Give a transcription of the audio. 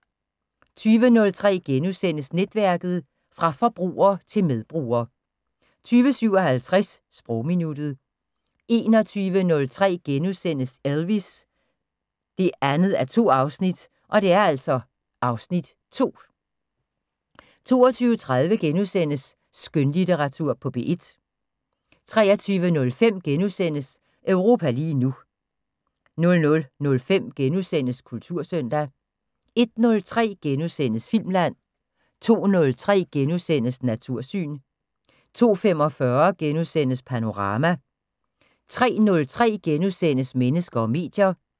20:03: Netværket: Fra forbruger til medbruger * 20:57: Sprogminuttet 21:03: Elvis: 2:2 (Afs. 2)* 22:03: Skønlitteratur på P1 * 23:05: Europa lige nu * 00:05: Kultursøndag * 01:03: Filmland * 02:03: Natursyn * 02:45: Panorama * 03:03: Mennesker og medier *